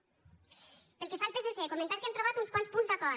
pel que fa al psc comentar que hem trobat uns quants punts d’acord